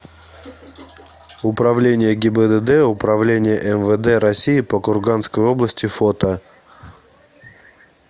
управление гибдд управление мвд россии по курганской области фото